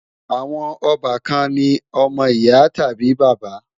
Àwọn ọbàkan ni ọmọ ìyá tàbí bàbá